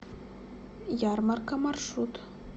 ярмарка маршрут